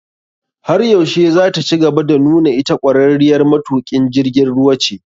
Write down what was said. Har yaushe zataci gaba da nuna ita ƙwararriyar matuƙin jirgin ruwa ce?